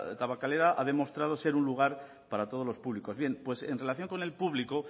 tabakalera ha demostrado ser un lugar para todos los públicos bien en relación con el público